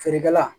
Feerekɛla